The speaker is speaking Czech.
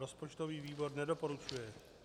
Rozpočtový výbor nedoporučuje.